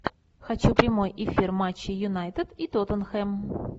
хочу прямой эфир матча юнайтед и тоттенхэм